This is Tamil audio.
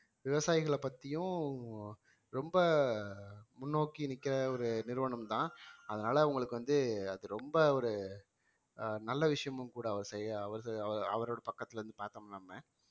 ஆஹ் விவசாயிகளை பத்தியும் ரொம்ப முன்னோக்கி நிக்கிற ஒரு நிறுவனம்தான் அதனால உங்களுக்கு வந்து அது ரொம்ப ஒரு ஆஹ் நல்ல விஷயமும் கூட அவர் செய்ய அவரு அவரோ~ அவரோட பக்கத்துல இருந்து பார்த்தோம் நம்ம